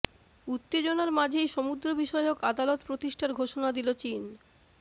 উত্তেজনার মাঝেই সমুদ্র বিষয়ক আদালত প্রতিষ্ঠার ঘোষণা দিল চীন